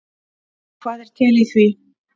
Og hvað er til í því?